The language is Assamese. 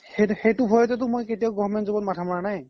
সেইতো কাৰনতে তো মই government job ত মাথা মাৰা নাই